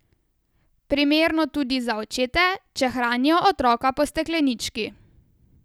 Primerno tudi za očete, če hranijo otroka po steklenički.